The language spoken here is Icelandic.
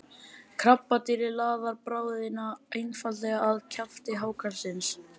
krabbadýrið laðar bráðina einfaldlega að kjafti hákarlsins